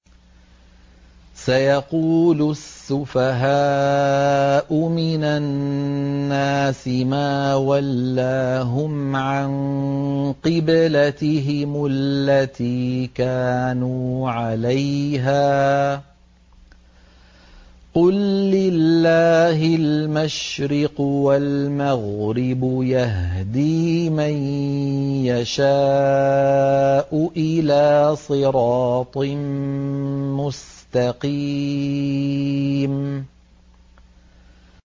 ۞ سَيَقُولُ السُّفَهَاءُ مِنَ النَّاسِ مَا وَلَّاهُمْ عَن قِبْلَتِهِمُ الَّتِي كَانُوا عَلَيْهَا ۚ قُل لِّلَّهِ الْمَشْرِقُ وَالْمَغْرِبُ ۚ يَهْدِي مَن يَشَاءُ إِلَىٰ صِرَاطٍ مُّسْتَقِيمٍ